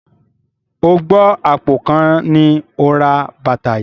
O gbọ́ àpò kan ni ó ra bàtà yìí?